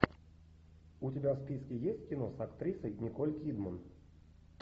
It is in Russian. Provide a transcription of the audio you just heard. у тебя в списке есть кино с актрисой николь кидман